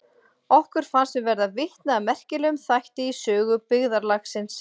Okkur fannst við verða vitni að merkilegum þætti í sögu byggðarlagsins.